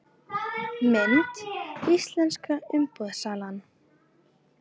Mynd: Íslenska umboðssalan